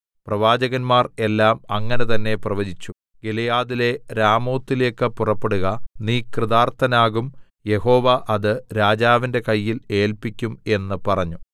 പ്രവാചകന്മാർ എല്ലാം അങ്ങനെ തന്നേ പ്രവചിച്ചു ഗിലെയാദിലെ രാമോത്തിലേക്കു പുറപ്പെടുക നീ കൃതാർത്ഥനാകും യഹോവ അത് രാജാവിന്റെ കയ്യിൽ ഏല്പിക്കും എന്ന് പറഞ്ഞു